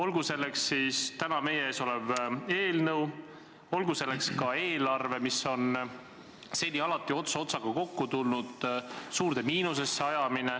Seda tehakse täna meie ees oleva eelnõuga ja tehti ka eelarvega, milles on seni alati ots otsaga kokku tuldud ja mis nüüd on suurde miinusesse aetud.